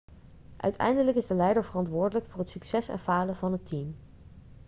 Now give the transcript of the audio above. uiteindelijk is de leider verantwoordelijk voor het succes en falen van het team